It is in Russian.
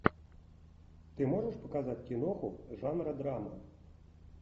ты можешь показать киноху жанра драма